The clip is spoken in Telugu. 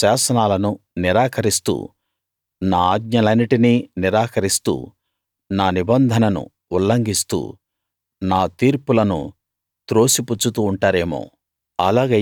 నా శాసనాలను నిరాకరిస్తూ నా ఆజ్ఞలన్నిటినీ నిరాకరిస్తూ నా నిబంధనను ఉల్లంఘిస్తూ నా తీర్పులను త్రోసిపుచ్చుతూ ఉంటారేమో